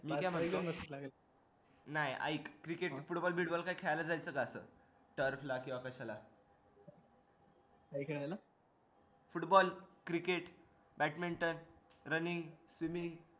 ठीक आहे मग ए दोन दिवस नाही ऐक cricket football bit ball खेळायला जायचं का असं football cricket badminton running swimming